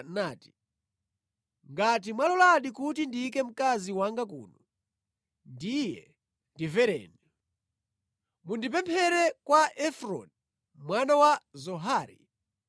nati, “Ngati mwaloladi kuti ndiyike mkazi wanga kuno, ndiye ndimvereni. Mundipemphere kwa Efroni mwana wa Zohari